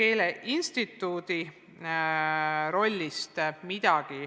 Keeleinstituudi rollist midagi